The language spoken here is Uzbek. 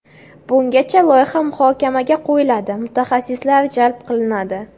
Bungacha loyiha muhokamaga qo‘yiladi, mutaxassislar jalb qilinadi.